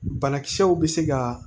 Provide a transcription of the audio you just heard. Banakisɛw bɛ se ka